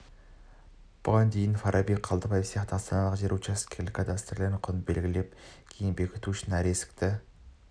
бұған дейін фараби қалдыбиев сияқты астаналықтар жер учаскесінің кадастрлық құнын белгілеп кейін бекіту үшін әр есікті